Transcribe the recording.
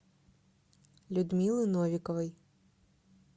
людмилы новиковой